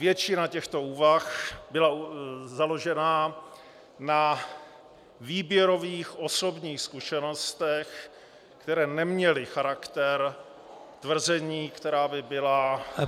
Většina těchto úvah byla založena na výběrových osobních zkušenostech, které neměly charakter tvrzení, která by byla -